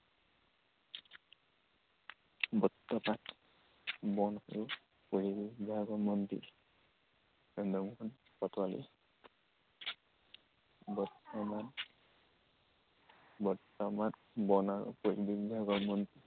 বৰ্তমান বন আৰু পৰিৱেশ বিভাগৰ মন্ত্ৰী, চন্দ্ৰমোহন পাটোৱাৰী। বৰ্তমান বৰ্তমান বন আৰু পৰিৱেশ বিভাগৰ মন্ত্ৰী